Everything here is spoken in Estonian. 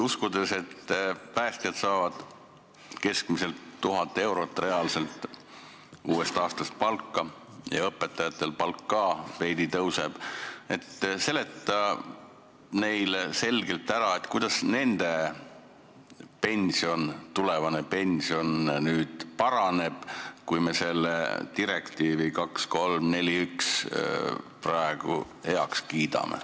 Uskudes seda, et päästjad hakkavad uuest aastast keskmiselt 1000 eurot reaalselt palka saama ja õpetajate palk ka veidi tõuseb, seleta selgelt ära, kuidas nende tulevane pension paraneb, kui me selle direktiivi 2341 heaks kiidame.